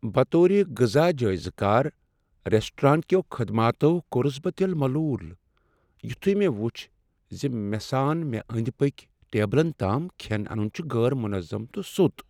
بطور غذا جایزٕ کار ، ریسٹوران كیو خدماتو كورہس بہٕ دِل ملوُل یُتھُی مے٘ وُچھ زِ مے٘ سان مےٚ اندۍ پٔکۍ ٹیبلن تام كھین انُن چھُ غیر منظم تہٕ سو٘ت ۔